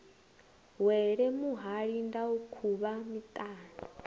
wele muhali ndau khuvha miṱana